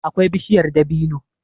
akwai bishiyar dabino.